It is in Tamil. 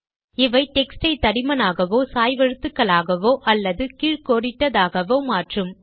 இவை டெக்ஸ்ட் யை தடிமனாகவோ சாய்வெழுத்துக்களாகவோ அல்லது கீழ் கோடிட்டதாகவோ மாற்றும்